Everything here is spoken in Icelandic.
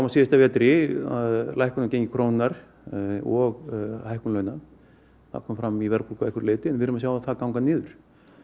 síðasta vetri lækkun á gengi krónunnar og hækkun launa það kom fram í verðbólgu að einhverju leyti en við erum að sjá það ganga niður